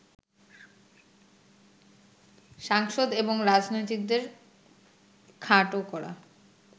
সাংসদ এবং রাজনীতিকদের খাট করা